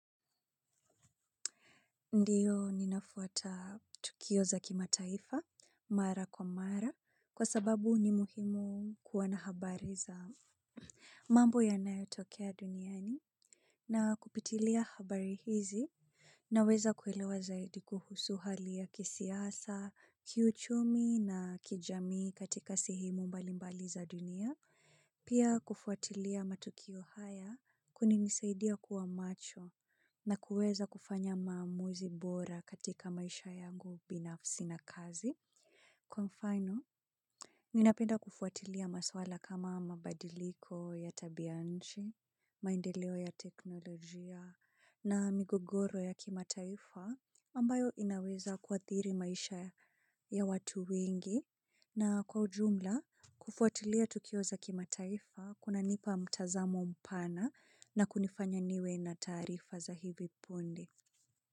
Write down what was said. Ndio ninafuata tukio za kimataifa mara kwa mara kwasababu ni muhimu kuwa na habari za mambo yanayo tokea duniani na kupitilia habari hizi. Naweza kuelewa zaidi kuhusu hali ya kisiasa, kiuchumi na kijamii katika sehemu mbali mbali za dunia, pia kufuatilia matukio haya kuna nisaidia kuwa macho na kuweza kufanya maamuzi bora katika maisha yangu binafsi na kazi. Kwa mfano, mi napenda kufuatilia maswala kama mabadiliko ya tabianchi, maendeleo ya teknolojia na migogoro ya kimataifa ambayo inaweza kuathiri maisha ya watu wengi na kwa ujumla kufuatilia tukio za kimataifa kuna nipa mtazamo mpana na kunifanya niwe na taarifa za hivi pundi.